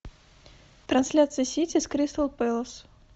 трансляция сити с кристал пэлас